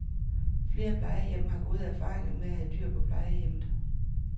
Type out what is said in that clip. Flere plejehjem har gode erfaringer med at have dyr på plejehjemmmet.